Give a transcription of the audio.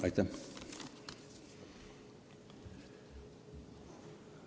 Aitäh!